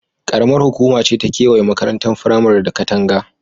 Ƙaramar hukuma ce ta gewaye makarantar firamaren da katanga.